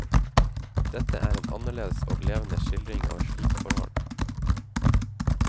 Dette er en annerledes og levende skildring av et slikt forhold.